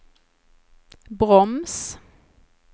broms